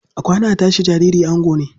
A kwana, a tashi, jariri ango ne.